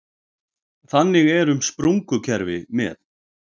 Þannig er um sprungukerfi með